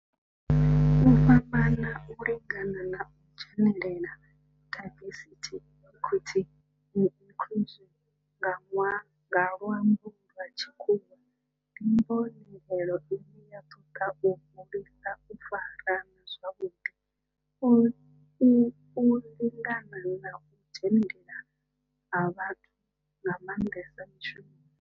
U fhambana, u lingana na u dzhenelela, diversity, equity and inclusion nga lwambo lwa tshikhuwa, ndi mbonelelo ine ya toda u hulisa u farana zwavhudi, u u u u lingana na u dzhenelela ha vhathu nga mandesa mishumoni.